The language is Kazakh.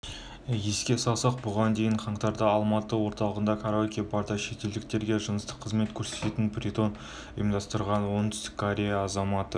еске салсақ бұған дейін қаңтарда алматы орталығындағы караоке-барда шетелдіктерге жыныстық қызмет көрсететін притон ұйымдастырған оңтүстік-корея азаматы